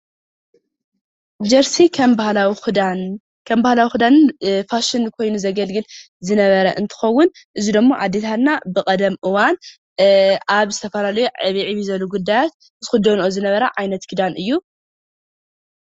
ጀርሲ ከም ባህላዊ ክዳንን ፋሽንን ኮይኑ ዘገልግል ዝነበረ እንትኸዉን እዚ ደሞ ኣዴታትና ብቀደም እዋን ኣብ ዝተፈላለዩ ዕብይ ዕብይ ዝበሉ ጉዳያት ዝክደንኦ ዝነበራ ዓይነት ክዳን እዩ።